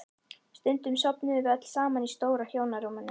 Stundum sofnuðum við öll saman í stóra hjónarúminu.